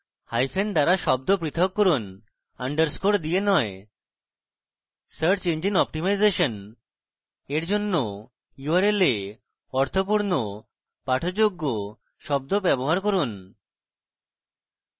hyphen দ্বারা শব্দ পৃথক করুন underscore দিয়ে নয় search engine optimization seo এর জন্য url এ অর্থপূর্ণ পাঠযোগ্য শব্দ ব্যবহার করুন